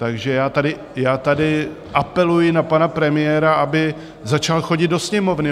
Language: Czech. Takže já tady apeluji na pana premiéra, aby začal chodit do Sněmovny.